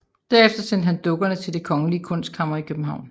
Derefter sendte han dukkerne til Det kongelige Kunstkammer i København